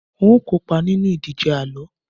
n o kópa nínú ìdíje àlọ